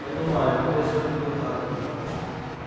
понимаю вежливо перебил хардин